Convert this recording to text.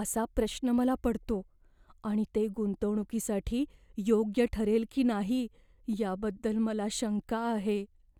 असा प्रश्न मला पडतो आणि ते गुंतवणुकीसाठी योग्य ठरेल की नाही याबद्दल मला शंका आहे.